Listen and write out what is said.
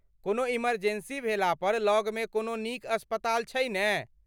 कोनो इमर्जेंसी भेला पर लगमे कोनो नीक अस्पताल छै ने ?